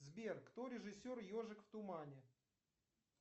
сбер кто режиссер ежик в тумане